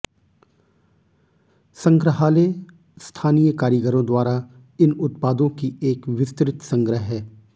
संग्रहालय स्थानीय कारीगरों द्वारा इन उत्पादों की एक विस्तृत संग्रह है